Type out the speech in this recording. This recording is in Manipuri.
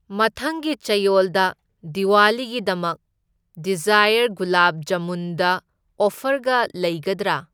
ꯃꯊꯪꯒꯤ ꯆꯌꯣꯜꯗ ꯗꯤꯋꯥꯂꯤꯒꯤꯗꯃꯛ ꯗꯤꯖꯥꯏꯌꯔ ꯒꯨꯂꯥꯕ ꯖꯥꯃꯨꯟꯗ ꯑꯣꯐꯔꯒ ꯂꯩꯒꯗ꯭ꯔꯥ?